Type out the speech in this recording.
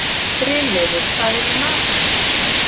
Brynleifur, hvað er í matinn?